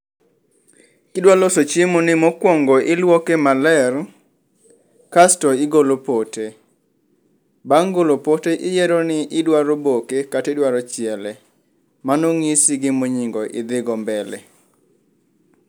Kidwa loso chiemoni mokuongo iluoke maler, kasto igolo pote. Bang' golo pote iyiero ni idwaro boke kata idwaro chiele. Mano nyisi gima onyingo idhogo mbele.